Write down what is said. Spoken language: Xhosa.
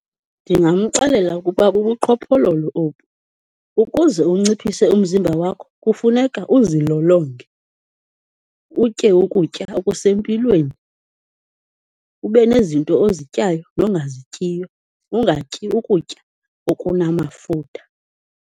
Ndingamxelela ukuba bubuqhophololo obu. Ukuze unciphise umzimba wakho kufuneka uzilolonge, utye ukutya okusempilweni, ube nezinto ozityayo, nongazityiyo ungatyi ukutya okunamafutha.